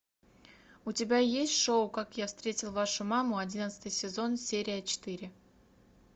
у тебя есть шоу как я встретил вашу маму одиннадцатый сезон серия четыре